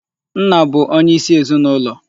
Nna bụ onyeisi ezinụlọ.